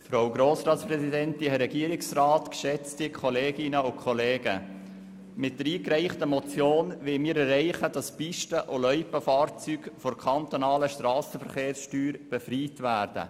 Mit dieser Motion wollen wir erreichen, dass Pisten- und Loipenfahrzeuge von der kantonalen Strassenverkehrssteuer befreit werden.